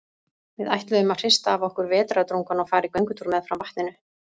Við ætluðum að hrista af okkur vetrardrungann og fara í göngutúr meðfram vatninu.